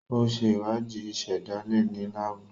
O ṣe ìwádìí ìsèdálè ní laabu.